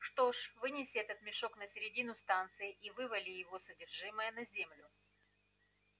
что ж вынеси этот мешок на середину станции и вывали его содержимое на землю